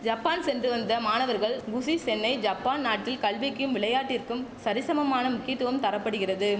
Japan சென்று வந்த மாணவர்கள் குஷி சென்னை ஜப்பான் நாட்டில் கல்விக்கும் விளையாட்டிற்கும் சரிசமமான முக்கியத்துவம் தர படுகிறது